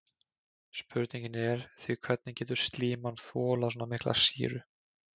Spurningin er því hvernig getur slíman þolað svona mikla sýru?